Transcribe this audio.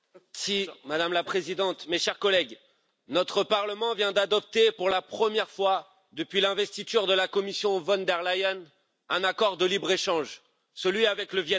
Madame la Présidente, mes chers collègues, notre Parlement vient d'adopter, pour la première fois depuis l'investiture de la Commission von der Leyen, un accord de libre échange, celui avec le Viêt Nam.